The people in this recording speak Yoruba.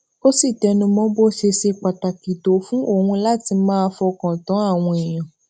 ó sì tẹnu mọ bó ṣe ṣe pàtàkì tó fún òun láti máa fọkàn tán àwọn èèyàn